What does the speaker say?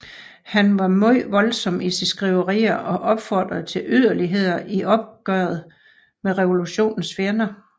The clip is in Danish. Han var meget voldsom i sine skriverier og opfordrede til yderligheder i opgøret med revolutionens fjender